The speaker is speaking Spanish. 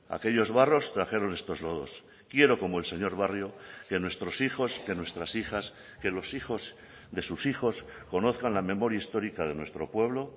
aquellos barros trajeron estos lodos quiero como el señor barrio que nuestros hijos que nuestras hijas que los hijos de sus hijos conozcan la memoria histórica de nuestro pueblo